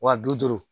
Wa bi duuru